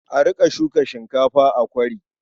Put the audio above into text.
A riƙa shuka shinkafa a kwari.